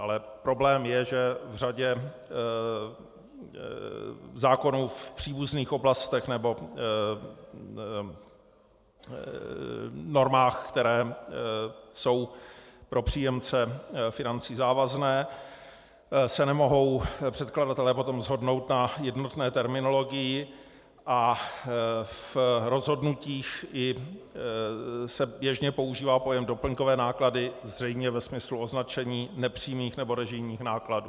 Ale problém je, že v řadě zákonů v příbuzných oblastech nebo normách, které jsou pro příjemce financí závazné, se nemohou předkladatelé potom shodnout na jednotné terminologii a v rozhodnutích se běžně používá pojem doplňkové náklady zřejmě ve smyslu označení nepřímých nebo režijních nákladů.